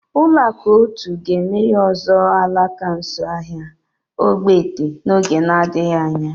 Ụlọakụ otu ga-emeghe ọzọ alaka nso ahịa ogbete n'oge na-adịghị anya